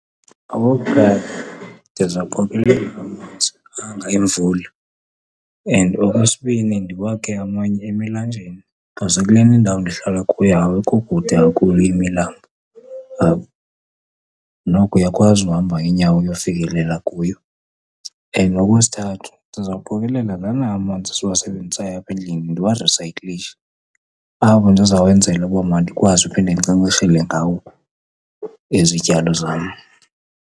Okokuqala, ndizawuqokelela amanzi anga emvula. And okwesibini, ndiwakhe amanye emilanjeni because kulena indawo ndihlala kuyo awekho kude kakhulu imilambo apha, noko uyakwazi uhamba ngeenyawo uyofikelela kuyo. And okwesithathu, ndizawukuqokelela lana amanzi siwasebenzisayo apha endlini, ndiwarisayiklishe, apho ndizawenzela uba mandikwazi uphinde ndinkcenkceshele ngawo izityalo zam.